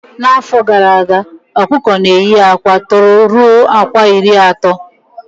Na afọ gara aga okuko na eye akwa tọrọ ruo akwa iri ato